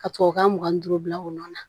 Ka tubabukan mugan ni duuru bila o nɔ na